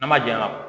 N'a ma jɛya